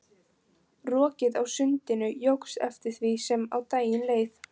Rokið á sundinu jókst eftir því sem á daginn leið.